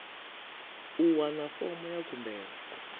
u wana fomo ya khumbelo